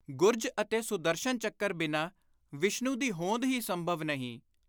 ਗੁਰਜ ਅਤੇ ਸੁਦਰਸ਼ਨ ਚੱਕਰ ਬਿਨਾਂ ਵਿਸ਼ਨੂੰ ਦੀ ਹੋਂਦ ਹੀ ਸੰਭਵ ਨਹੀਂ।